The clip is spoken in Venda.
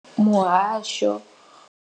Muhasho.